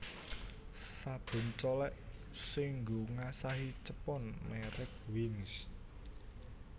Sabun colek sing nggo ngasahi cepon merk Wings